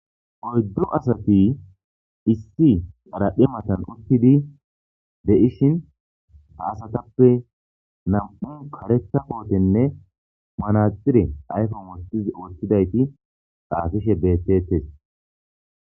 Oyddu assathi issi xarephe mathan uttidi de'she ha asathappe nammu' karetha kothene maraxinne ayfen wothidi xapishe bethethess.